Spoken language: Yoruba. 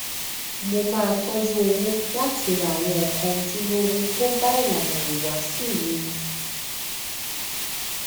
mo máa tọjú owó láti ra àwọn nǹkan ojúlówó tó bá ilànà ìhùwàsí mi mu